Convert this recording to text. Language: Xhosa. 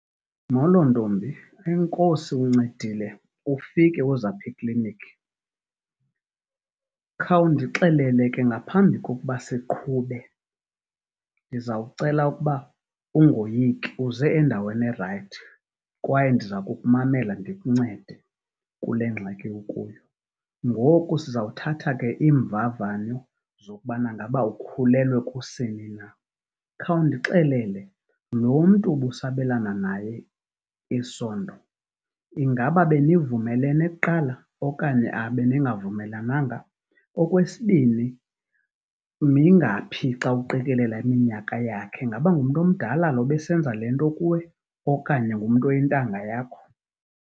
Molo ntombi, enkosi uncedile ufike uze apha ekliniki. Khawundixelele ke ngaphambi kokuba siqhube ndizawucela ukuba ungoyiki uze endaweni erayithi kwaye ndiza kukumamela ndikuncede kule ngxaki ukuyo. Ngoku sizawuthatha ke iimvavanyo zokubana ngaba ukhulelwe kusini na. Khawundixelele, lo mntu ubusabelana naye isondo ingaba benivumelene kuqala okanye beningavumelananga? Okwesibini, mingaphi xa uqikelela iminyaka yakhe, ingaba ngumntu omdala lo ebesenza le nto kuwe okanye ngumntu oyintanga yakho?